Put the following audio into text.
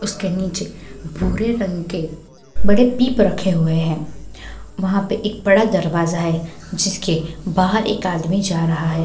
उसके नीचे भूरे रंग के बड़े पीप रखे हुए है वहां पे एक बड़ा दरवाज़ा है जिसके बाहर एक आदमी जा रहा है।